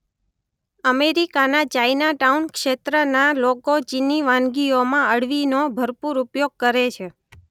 અમેરિકાના ચાઈનાટાઊન ક્ષેત્રના લોકો ચીની વાનગીઓમાં અળવીનો ભરપૂર ઉપયોગ કરે છે.